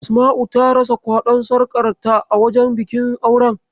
Asma'u ta rasa kwaɗon sarƙar ta a wajen bikin auren.